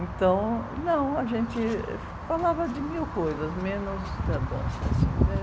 Então, não, a gente falava de mil coisas, menos da dança, assim, né?